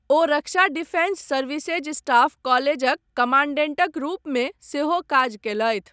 ओ रक्षा defence services staff कॉलेजक कमांडेंटक रूपमे सेहो काज कयलथि।